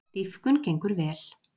Dýpkun gengur vel